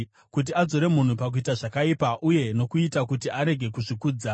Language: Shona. kuti adzore munhu pakuita zvakaipa, uye nokuita kuti arege kuzvikudza,